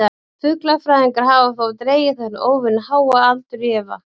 Fuglafræðingar hafa þó dregið þennan óvenju háa aldur í efa.